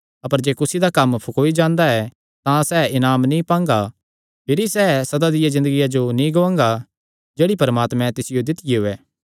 अपर जे कुसी दा कम्म फकौई जांदा ऐ तां सैह़ इनाम नीं पांगा भिरी सैह़ सदा दिया ज़िन्दगिया जो नीं गुआंगा जेह्ड़ी परमात्मे तिसियो दित्तियो ऐ